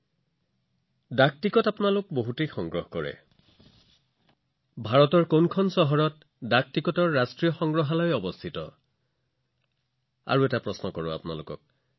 শৈশৱত ডাকটিকট সংগ্ৰহ কৰিবলৈ কোনে ভাল নাপায় কিন্তু আপোনালোকে জানেনে যে ভাৰতত ডাক টিকটৰ সৈতে সম্পৰ্কিত ৰাষ্ট্ৰীয় সংগ্ৰহালয় কত আছে মই আপোনালোকক আৰু এটা প্ৰশ্ন সুধিম